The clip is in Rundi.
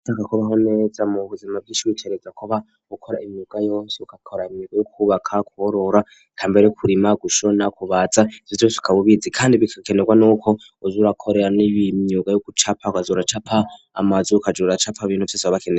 Iyo ushaka kubaho neza mu buzima bw'ishwi kereza kuba ukora imyuga yose ukakora imyuga yo kubaka kugorora ,kambere kurima, gushona, kubaza bizusukabubizi kandi bikakenerwa n'uko uzurakorera n'ib'imyuga yo gucapa ukaza uracapa amazu ukajura capa bintu vyose babakeye.